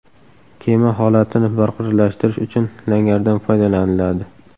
Kema holatini barqarorlashtirish uchun langardan foydalaniladi.